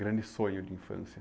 Grande sonho de infância.